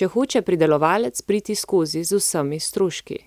če hoče pridelovalec priti skozi z vsemi stroški.